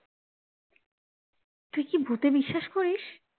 তুই কি ভূতে বিশ্বাস করিস?